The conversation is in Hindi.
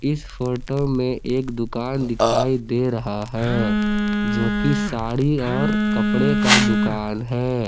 इस फोटो में एक दुकान दिखाई दे रहा है जोकि साड़ी और कपड़े का दुकान है।